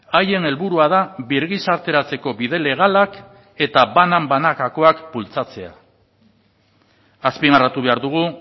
haien helburua da birgizarteratzeko bide legalak eta banan banakakoak bultzatzea azpimarratu behar dugu